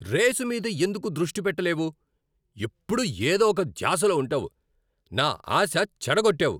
Race మీద ఎందుకు దృష్టి పెట్టలేవు? ఎప్పుడూ ఏదో ఒక ధ్యాసలో ఉంటావు. నా ఆశ చెడగోట్టావు.